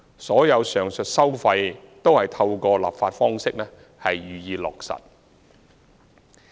所有上述收費均透過立法方式予以落實。